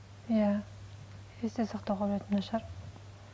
иә есте сақтау қабілетім нашар